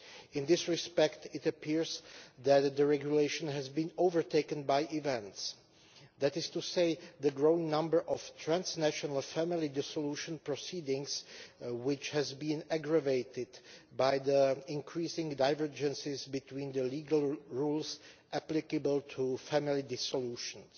In this respect it appears that the regulation has been overtaken by events that is to say, the growing number of transnational family dissolution proceedings, which has been aggravated by the increasing divergences between the legal rules applicable to family dissolutions.